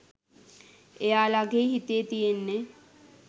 එයාලගෙ හිතේ තියෙන්නෙ